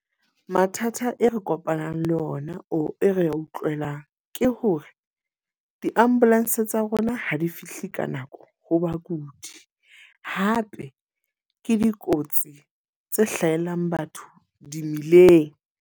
Mathata e re kopanang le ona o e re ya utlwelane. Ke hore di-ambulance tsa rona ha di fihle ka nako ho bakudi. Hape ke dikotsi tse hlahelang batho di mmileng.